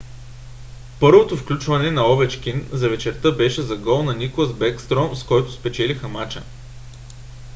първото включване на овечкин за вечерта беше за гол на никлас бекстром с който спечелиха мача;